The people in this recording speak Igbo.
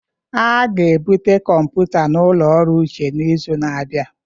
A ga-ebute kọmpụta ụlọ ọrụ Uche n'izu na-abịa.